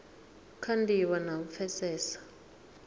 kha ndivho na u pfesesa